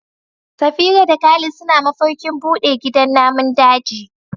Safira da Khalid suna mafarkin bude gidan namun daji.